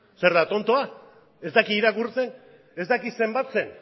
zer da tontoa ez daki irakurtzen ez daki zenbatzen